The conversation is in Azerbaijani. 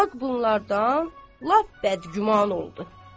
xalq bunlardan lap bəd-güman oldu.